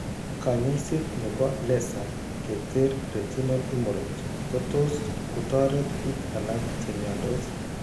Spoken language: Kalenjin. Kany'aaseet ne po laser ke ter retinal hemorrhage ko tos' kotoret biik alak che mnyandos.